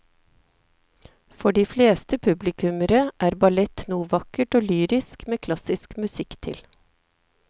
For de fleste publikummere er ballett noe vakkert og lyrisk med klassisk musikk til.